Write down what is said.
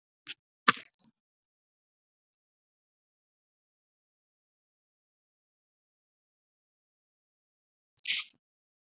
.